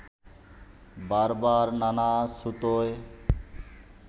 বারবার নানা ছুতোয়